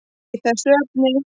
í þessu efni.